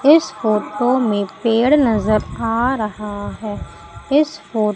इस फोटो में पेड़ नजर आ रहा है इस फो--